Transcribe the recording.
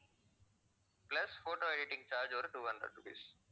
plus photo editing charge ஒரு two hundred rupees